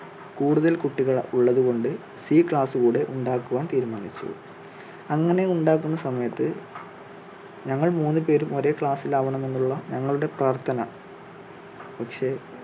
കൂടുതൽ കുട്ടികൾ ഉള്ളത് കൊണ്ട് സി class കൂടെ ഉണ്ടാക്കുവാൻ തീരുമാനിച്ചു അങ്ങനെ ഉണ്ടാക്കുന്ന സമയത്ത് ഞങ്ങൾ മൂന്ന് പേരും ഒരേ class ിൽ ആവണമെന്നുള്ള ഞങ്ങളുടെ പ്രാർഥന പക്ഷേ,